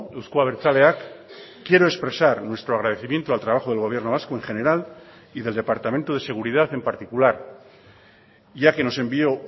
euzko abertzaleak quiero expresar nuestro agradecimiento al trabajo del gobierno vasco en general y del departamento de seguridad en particular ya que nos envió